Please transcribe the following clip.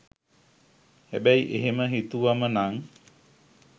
හැබැයි එහෙම හිතුවම නං